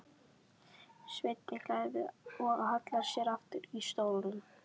Svenni hlær við og hallar sér aftur í stólnum.